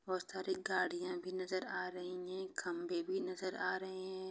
बहुत सारी गाड़िया भी नज़र आ रही हैं खम्बे भी नज़र आ रहे हैं।